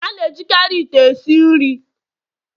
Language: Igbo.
A na-ejikarị ite esi nri